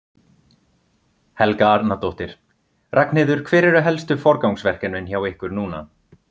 Helga Arnardóttir: Ragnheiður, hver eru helstu forgangsverkefnin hjá ykkur núna?